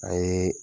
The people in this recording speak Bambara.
A ye